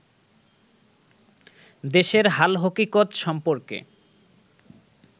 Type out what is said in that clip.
দেশের হালহকিকত সম্পর্কে